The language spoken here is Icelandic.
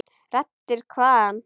Raddir hvaðan?